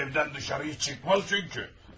O evdən dışarı çıxmaz çünki.